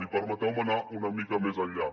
i permeteu me anar una mica més enllà